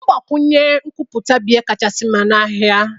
Mgbakwụnye nkwupụta bụ ihe kacha mma n'ahịa